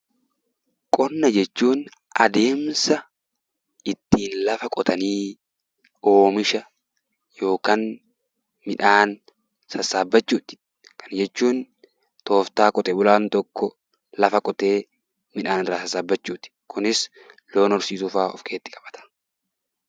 Qonna jechuun adeemsa ittiin lafa qotanii oomisha yookaan midhaan sassaabbachuuti. Kana jechuun tooftaa qote bulaan tokko lafa qotee midhaan irraa sassaabbachuuti. Kunis loon horsiisuufaa of keessatti qabata.